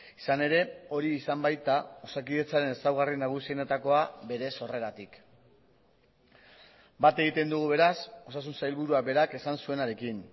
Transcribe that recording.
izan ere hori izan baita osakidetzaren ezaugarri nagusienetakoa bere sorreratik bat egiten dugu beraz osasun sailburuak berak esan zuenarekin